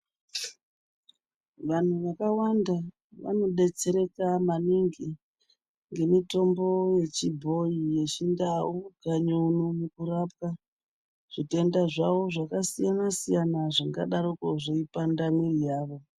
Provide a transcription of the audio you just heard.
Vantu vakawanda vanodetsereka maningi ngemutombo yechibhoyi yechindau kanyi uno nekupwa zvitenda zvavo zvakasiyana siyana zvingadaroko zveipanda mwiri yavo.